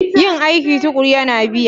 Yin aiki tuƙuru yana biya